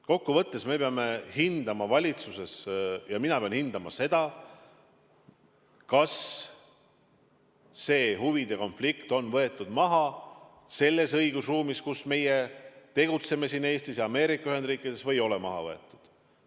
Kokkuvõttes me peame hindama valitsuses ja ka mina pean hindama seda, kas huvide konflikt on maha võetud selles õigusruumis, kus meie tegutseme siin Eestis ja Ameerika Ühendriikides, või ei ole maha võetud.